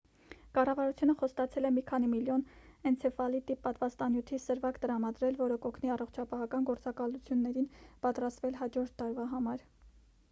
կառավարությունը խոստացել է մի քանի միլիոն էնցեֆալիտի պատվաստանյութի սրվակ տրամադրել որը կօգնի առողջապահական գործակալություններին պատրաստվել հաջորդ տարվա համար